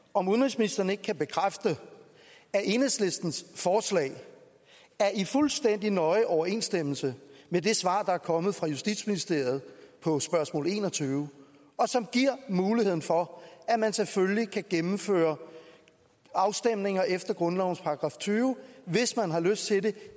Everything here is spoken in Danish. om udenrigsministeren ikke kan bekræfte at enhedslistens forslag er i fuldstændig nøje overensstemmelse med det svar der er kommet fra justitsministeriet på spørgsmål en og tyve og som giver mulighed for at man selvfølgelig kan gennemføre afstemninger efter grundlovens § tyve hvis man har lyst til det